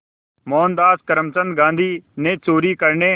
मोहनदास करमचंद गांधी ने चोरी करने